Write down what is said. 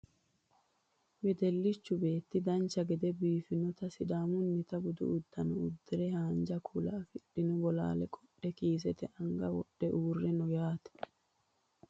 wedellichu beetti dancha gede biiffinota sidaamunnita budu uddano uddire haanja kuula afidhino bolaale qodhe kiisete anga wodhe uurre no yaate